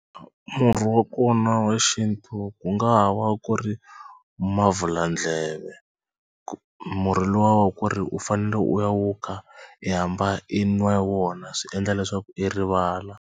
Murhi wa kona wa xintu ku nga ha va ku ri mavhuladleve murhi luwa wa ku ri u fanele u ya wu kha i hambana i nwa wona swi endla leswaku i rivala.